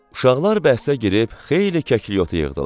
Uşaqlar bəhsə girib xeyli kəklikotu yığdılar.